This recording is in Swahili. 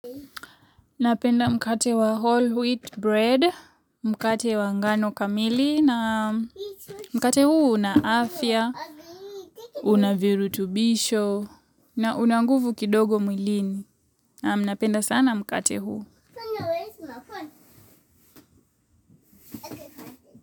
Napenda mkate wa whole wheat bread, mkate wa ngano kamili, na mkate huu unaafya, unaviru tubisho, na unanguvu kidogo mwilini. Napenda sana mkate huu.